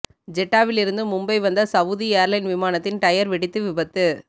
ஜெட்டாவிலிருந்து மும்பை வந்த Saudi airline விமானத்தின் tyre வெடித்து விபத்து